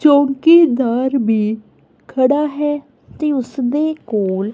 ਚੌਂਕੀਦਾਰ ਵੀ ਖੜਾ ਹੈ ਤੇ ਉਸਦੇ ਕੋਲ--